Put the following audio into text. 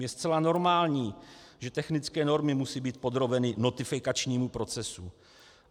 Je zcela normální, že technické normy musí být podrobeny notifikačnímu procesu.